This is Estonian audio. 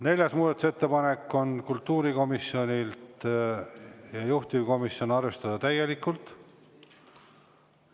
Neljas muudatusettepanek on kultuurikomisjonilt, juhtivkomisjoni ettepanek on seda arvestada täielikult.